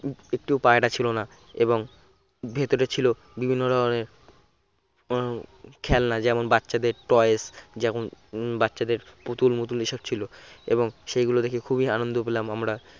একটিও পায়রা ছিল না এবং ভেতরে ছিল বিভিন্ন ধরনের হম খেলনা যেমন বাচ্চাদের toys যেমন বাচ্চাদের পুতুল মুতুল এসব ছিল এবং সেগুলো দেখে খুবই আনন্দ পেলাম আমরা